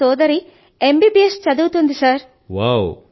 అయితే నా సోదరి ఎమ్ బిబిఎస్ చదువుతోంది సర్